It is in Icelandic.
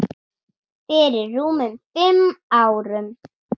Fyrir rúmum fimm árum.